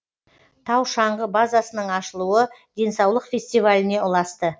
тау шаңғы базасының ашылуы денсаулық фестиваліне ұласты